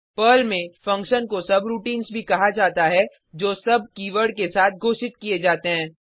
Perl में function को subroutines भी कहा जाता है जो सुब कीवर्ड के साथ घोषित किये जाते हैं